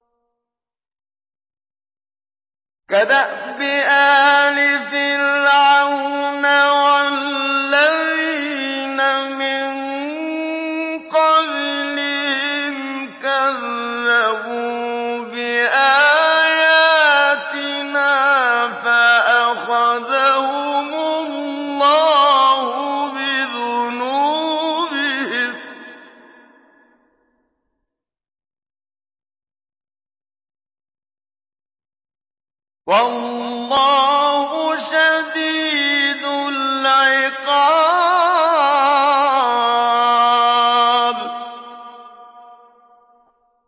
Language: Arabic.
كَدَأْبِ آلِ فِرْعَوْنَ وَالَّذِينَ مِن قَبْلِهِمْ ۚ كَذَّبُوا بِآيَاتِنَا فَأَخَذَهُمُ اللَّهُ بِذُنُوبِهِمْ ۗ وَاللَّهُ شَدِيدُ الْعِقَابِ